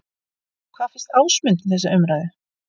Hvað finnst Ásmundi um þessa umræðu?